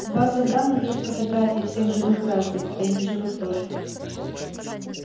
в базах данных есть фотографии всех живых граждан да и неживых тоже